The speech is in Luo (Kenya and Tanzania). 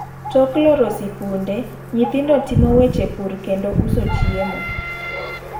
Tok loro sikunde ,nyithindo timo weche pur kendo uso chiemo.